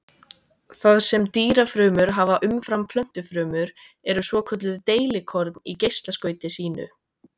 Það sem dýrafrumur hafa umfram plöntufrumur eru svokölluð deilikorn í geislaskauti sínu.